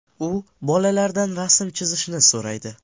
U bolalardan rasm chizishni so‘raydi.